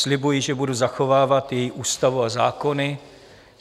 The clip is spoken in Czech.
Slibuji, že budu zachovávat její ústavu a zákony.